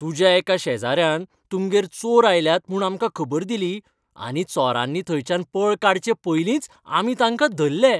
तुज्या एका शेजाऱ्यान तुमगेर चोर आयल्यात म्हूण आमकां खबर दिली आनी चोरांनी थंयच्यान पळ काडचें पयलींच आमी तांका धरलें.